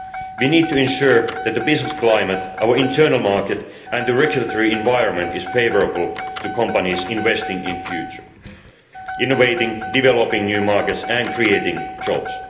We need to ensure that the business climate, our internal market and the regulatory environment are favourable to companies investing in the future innovating, developing new markets and creating jobs.